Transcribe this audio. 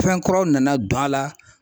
Fɛn kuraw nana don a la.